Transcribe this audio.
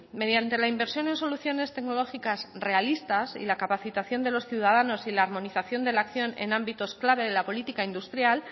mediante la inversión en soluciones tecnológicas realistas y la capacitación de los ciudadanos y la armonización de la acción en ámbitos clave de la política industrial